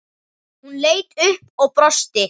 Hún leit upp og brosti.